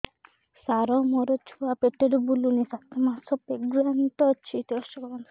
ସାର ମୋର ଛୁଆ ପେଟରେ ବୁଲୁନି ସାତ ମାସ ପ୍ରେଗନାଂଟ ଅଛି ଟେଷ୍ଟ କରନ୍ତୁ